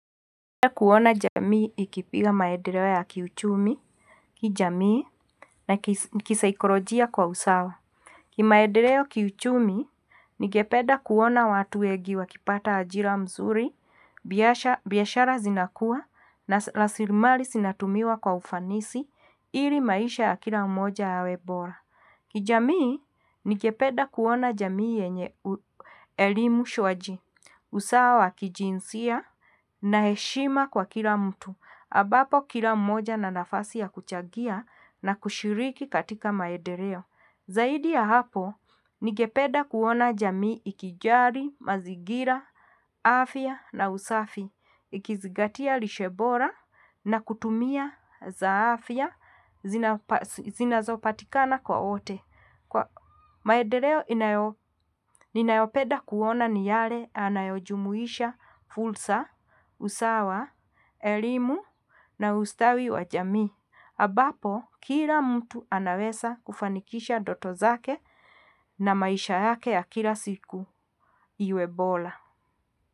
Napeda kuwona jamii ikipiga maederewa kiuchumi, kijamii na kisaikolojia kwa usawa. Ki maedereo kiuchumi, nijepeda kuwona watu ya giwa kipata ajila mzuri, Biasha razinakua, nasilimali sinatumiwa kwa ufanisi, ili maisha ya kila moja ya webora. Kijamii, ningepeda kuona jamii yenyelimu shuaji, usawa kijinsia na heshima kwa kila mutu, abapo kila moja na nafasi ya kuchagia na kushiriki katika maedereo. Zaidi ya hapo, ningependa kuwona jamii ikijali, mazigila, afia na usafi, Ikizigatia lishe bora na kutumia zaafia, zinazopatikana kwa ote. Maedereo, nijepeda kuona niyare anayojumuisha fulsa, usawa, elimu na ustawi wa jamii. Abapo, kila mtu anaweza kufanikisha doto zake na maisha ya kila siku ya webora.